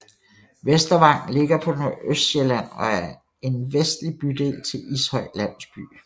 Vestervang ligger på Nordøstsjælland og er en vestlig bydel til Ishøj Landsby